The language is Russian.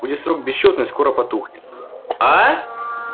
будет срок бессчётный скоро потухнет